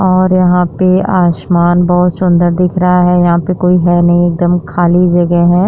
और यहाँ पे आसमान बहुत सुन्दर दिख रहा है यहाँ पे कोई है नहीं एकदम खली जगह है।